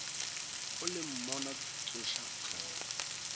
o le monna tsoša hlogo